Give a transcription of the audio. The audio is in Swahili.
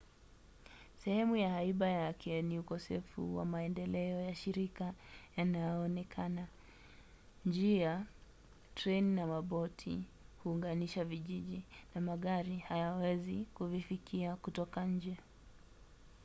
sehemu ya haiba yake ni ukosefu wa maendeleo ya shirika yanayoonekana. njia treni na maboti huunganisha vijiji na magari hayawezi kuvifikia kutoka nje